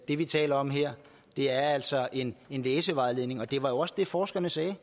det vi taler om her er altså en en læsevejledning det var jo også det forskerne sagde